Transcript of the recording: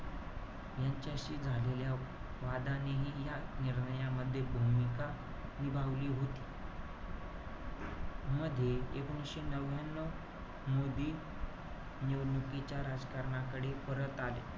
यांच्याशी झालेल्या वादानेही त्या निर्णयामध्ये भूमिका निभावली होती. मध्ये एकोणीशे नव्यानऊ मोदी निवडणुकीच्या राजकारणाकडे परत आले.